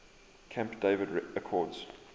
camp david accords